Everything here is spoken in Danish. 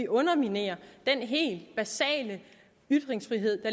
underminerer den helt basale ytringsfrihed